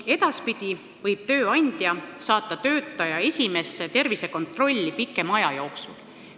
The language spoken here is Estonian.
Edaspidi võib tööandja saata töötaja esimesse tervisekontrolli pikema aja jooksul.